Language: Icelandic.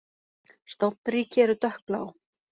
Stofnríki eru dökkblá.